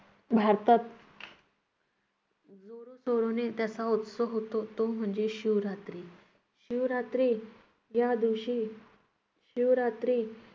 भारतात त्याचा उत्सव होतो तो म्हणजे शिवरात्री. शिवरात्री या दिवशी शिवरात्री